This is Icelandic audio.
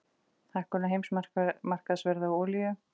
Hækkun á heimsmarkaðsverði á olíu